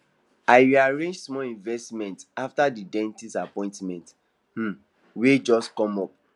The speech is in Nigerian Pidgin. i rearrange small investment after the dentist appointment um wey just come up